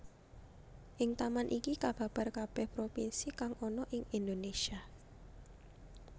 Ing taman iki kababar kabeh propinsi kang ana ing Indonesia